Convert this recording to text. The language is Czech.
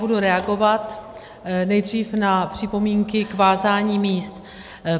Budu reagovat nejdřív na připomínky k vázání míst.